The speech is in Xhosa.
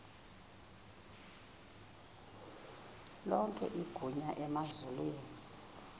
lonke igunya emazulwini